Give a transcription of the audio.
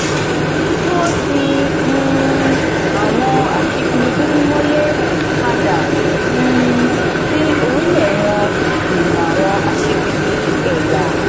kí wọ́n tì um àwọn aṣíkiri dúdú mọ́lé padà um sí orílẹ̀ wọn dènà àwọn aṣíkiri ẹ̀yà.